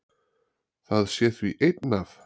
Það sé því einn af